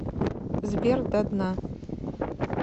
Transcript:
сбер до дна